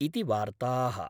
इति वार्ता:।।